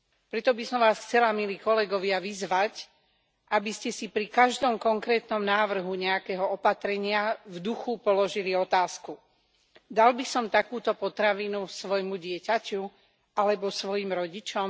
Preto by som vás chcela, milí kolegovia, vyzvať, aby ste si pri každom konkrétnom návrhu nejakého opatrenia v duchu položili otázku dal by som takúto potravinu svojmu dieťaťu alebo svojim rodičom?